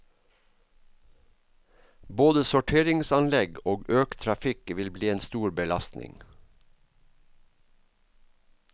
Både sorteringsanlegg og økt trafikk vil bli en stor belastning.